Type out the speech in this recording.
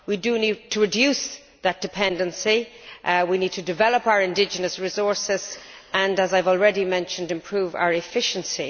We need to reduce that dependency, we need to develop our indigenous resources and, as I have already mentioned, improve our efficiency.